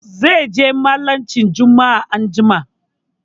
Zai je mallacin Jumma'a anjima.